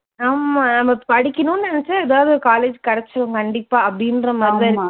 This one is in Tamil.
ஆமா நம்ம படிக்கணும்னு நினைச்சா ஏதாவது ஒரு college கிடைச்சுடும் கண்டிப்பா அப்படின்ற மாதிரி தான் இருக்கு.